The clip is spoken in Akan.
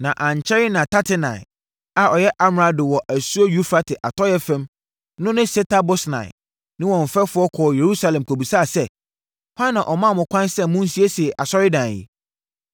Na ankyɛre na Tatenai a ɔyɛ amrado wɔ asuo Eufrate atɔeɛ fam no ne Setar-Bosnai ne wɔn mfɛfoɔ kɔɔ Yerusalem kɔbisaa sɛ, “Hwan na ɔmaa mo kwan sɛ monsiesie asɔredan yi?”